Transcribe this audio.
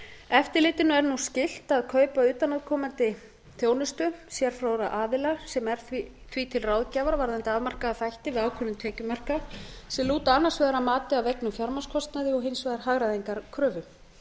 eftirlitinu er nú skylt að kaupa utanaðkomandi þjónustu sérfróðra aðila sem er því til ráðgjafar varðandi afmarkaða þætti við ákvörðun tekjumarka sem lúta annars vegar að mati á auknum fjármagnskostnaði og hins vegar hagræðingarkröfu